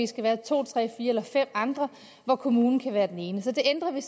skal være to tre fire eller fem andre og hvor kommunen kan være den ene det ændrer vi